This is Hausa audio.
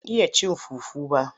Ban iya cin fufu ba,